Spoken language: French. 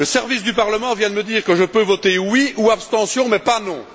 Les services du Parlement viennent de me dire que je peux voter oui ou abstention, mais pas non.